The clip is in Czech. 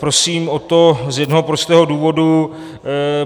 Prosím o to z jednoho prostého důvodu.